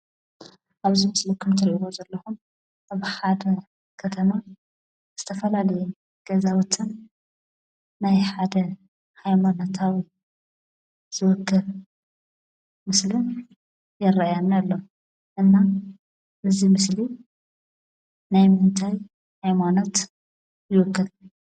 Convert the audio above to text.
ኣብዚ ምስሊ ከምትሪእዎ ዘለኹም ኣብ ሓደ ከተማ ዝተፈላለዩ ገዛውትን ናይ ሓደ ሃይማኖታውን ዝውክል ምስሊ ይረአየኒ ኣሎ፡፡ እና እዚ ምስሊ ናይምንታይ ሃይማኖት ይውክል?